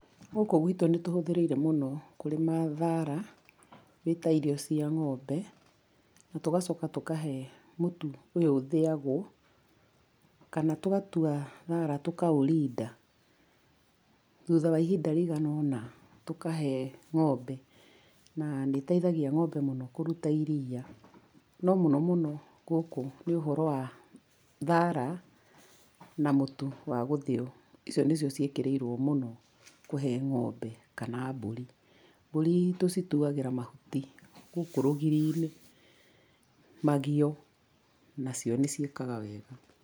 Gũkũ gwitũ nĩ tũhũthĩrĩire mũno kũrĩma thara ĩ ta irio cia ng'ombe, na tũgacoka tũkahe mũtu ũyũ ũthĩagwo, kana tũgatua thara tũkaũrinda. Thutha wa ihinda rĩigana ũna tũkahe ng'ombe na nĩ ĩteithagia ng'ombe mũno kũruta iria. No mũno mũno gũkũ nĩ ũhoro wa thara na mũtu wa gũthĩo, icio nĩcio ciĩkĩrĩirwo mũno kũhe ng'ombe kana mbũri. Mbũri tũcituagĩra mahuti gũkũ rũgiri-inĩ, magio, nacio nĩ ciĩkaga wega.